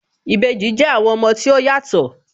Ìbejì jẹ́ àwọn ọmọ tí ó yàtọ̀